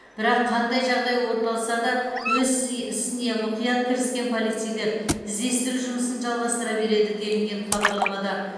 бірақ қандай жағдай орын алса да өз ісе ісіне мұқият кіріскен полицейлер іздестіру жұмысын жалғастыра береді делінген хабарламада